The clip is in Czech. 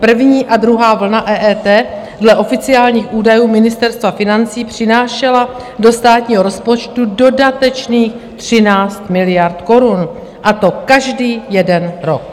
První a druhá vlna EET dle oficiálních údajů Ministerstva financí přinášela do státního rozpočtu dodatečných 13 miliard korun, a to každý jeden rok.